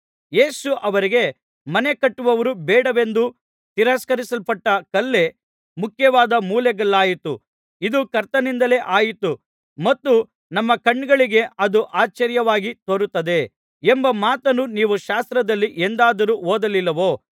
ಯೇಸು ಅವರಿಗೆ ಮನೆ ಕಟ್ಟುವವರು ಬೇಡವೆಂದು ತಿರಸ್ಕರಿಸಲ್ಪಟ್ಟ ಕಲ್ಲೇ ಮುಖ್ಯವಾದ ಮೂಲೆಗಲ್ಲಾಯಿತು ಇದು ಕರ್ತನಿಂದಲೇ ಆಯಿತು ಮತ್ತು ನಮ್ಮ ಕಣ್ಣುಗಳಿಗೆ ಅದು ಆಶ್ಚರ್ಯವಾಗಿ ತೋರುತ್ತದೆ ಎಂಬ ಮಾತನ್ನು ನೀವು ಶಾಸ್ತ್ರದಲ್ಲಿ ಎಂದಾದರೂ ಓದಲಿಲ್ಲವೋ